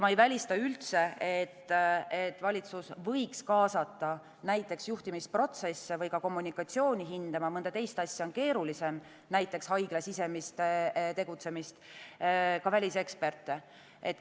Ma ei välista üldse, et valitsus võiks kaasata näiteks juhtimisprotsesse või kommunikatsiooni hindama – mõnda teist asja on keerulisem, näiteks haigla sisemist tegutsemist – ka väliseksperte.